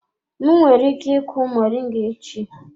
M nwere ike ịku moringa echi?